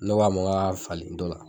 Ne ko a ma n k'a ka falen dɔ la.